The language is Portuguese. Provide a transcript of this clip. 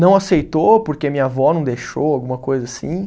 Não aceitou, porque minha avó não deixou, alguma coisa assim.